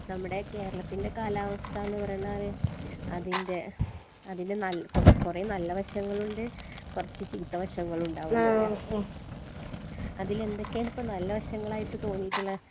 നമ്മടെ കേരളത്തിന്റെ കാലാവസ്ഥാന്ന് പറഞ്ഞാൽ അതിന്റെ അതിന്റെ നല്ല കോ കൊറേ നല്ല വശങ്ങളൂണ്ട് കൊറച്ച് ചീത്ത വശങ്ങളുണ്ടാവും അതിലെന്തെക്കെണ് ഇപ്പൊ നല്ല വശങ്ങളായിട്ട് തോന്നീട്ട്ളെ